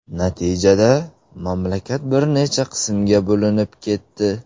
Natijada, mamlakat bir necha qismga bo‘linib ketdi.